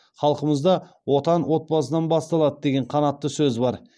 халқымызда отан отбасынан басталады деген қанатты сөз бар